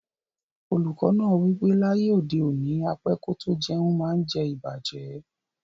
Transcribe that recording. Oluko naa wipe laye ode oni, á pẹ kò tó jẹ̀un maá ǹ jẹ̀ ìbàjẹ́.